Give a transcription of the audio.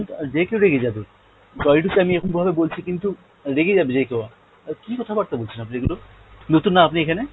আহ যে কেও রেগে যাবে, sorry to say আমি এখন এভাবে বলছি কিন্তু রেগে যাবে যে কেও, আহ কী কথা বার্তা বলেছেন আপনি এগুলো? নতুন না আপনি এখানে?